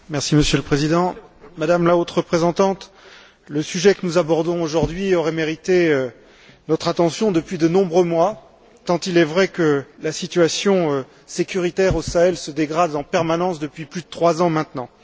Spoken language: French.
Monsieur le Président, Madame la Haute représentante, le sujet que nous abordons aujourd'hui aurait mérité notre attention depuis de nombreux mois, tant il est vrai que la situation de la sécurité au Sahel se dégrade en permanence depuis plus de trois ans maintenant.